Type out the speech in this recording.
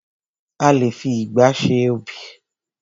A lé fi ìgba ṣe ọb|.